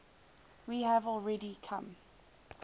we have already come